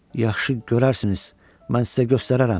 Yaxşı, görərsiniz, mən sizə göstərərəm.